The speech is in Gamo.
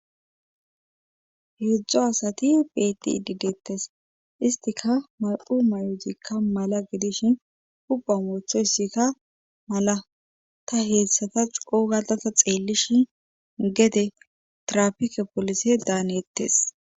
Heedzdzu asati beetide deetees. histikka may'o maydikka mala gidishin huuphiya wotoysikka mala ta xeelishin gede tirafikke polise daanetes.